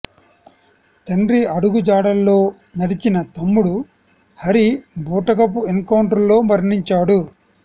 తండ్రి అడుగుజాడల్లో నడిచిన తమ్ముడు హరి బూటకపు ఎన్ కౌంటర్ లో మరణించాడు